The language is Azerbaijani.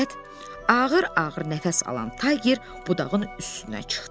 Nəhayət, ağır-ağır nəfəs alan Tayger budağın üstünə çıxdı.